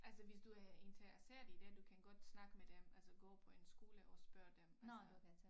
Altså hvis du er interesseret i det du kan godt snakke med dem altså gå på en skole og spørge dem altså